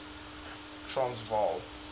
transvaal